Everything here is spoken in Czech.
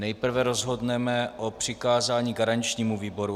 Nejprve rozhodneme o přikázání garančnímu výboru.